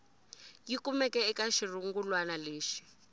yi kumeke eka xirungulwana lexi